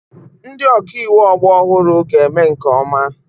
Ndị ọka iwu ọgbọ ọhụrụ ga-eme nke ọma.